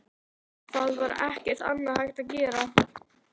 Það var ekkert annað hægt að gera.